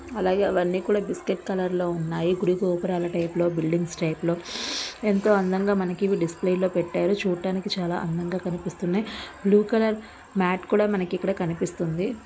అలాగే అవి అన్ని కూడా బిస్కెట్ కలర్ లో ఉన్నాయి . గుడి గోపురములు టైపు లో బిల్డింగ్స్ టైపు లో ఎంతో అందంగా ఇవి డిస్ప్లే లో పెట్టారు. చూడడానికి చాలా అందంగా కనిపిస్తున్నాయి .బ్లూ కలర్ మ్యాట్ కూడా మనకి ఇక్కడ కనిపిస్తుంది